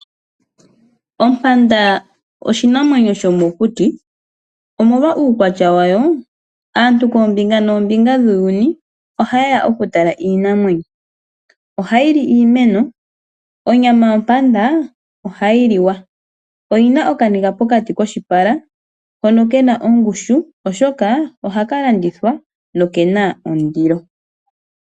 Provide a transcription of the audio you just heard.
Ompanda oshinamwenyo shomokuti, omolwa uukwatya wayo, aantu kombinga noombimga dhuuyuni ohaye ya okutala iinamwenyo. Ohayi li iimeno. Onyama yompanda ohayi liwa. Oyina okaniga pokati koshipala hono kena ongushu oshoka ohaka landithwa nokena ondilo. .